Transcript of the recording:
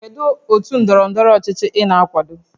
Kedu otu ndọrọ ndọrọ ọchịchị ị na-akwado?